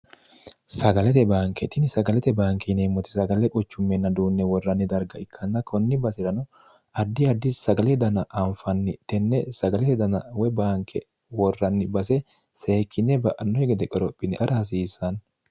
sagalete baanketini sagalete baanki yineemmoti sagalle qochummeenna duunne worranni darga ikkanna kunni base'rano addi addi sagale dana anfanni tenne sagalete dana woy baanke worranni base seekkinne ba'annoki gede qorophine agara hasiissanno